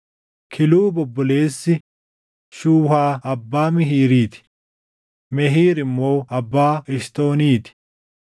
Kiluub obboleessi Shuhaa abbaa Mihiirii ti; Mehiir immoo abbaa Eshitooniti.